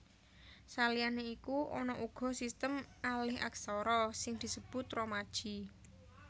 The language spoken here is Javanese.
Saliyané iku ana uga sistem alihaksara sing disebut romaji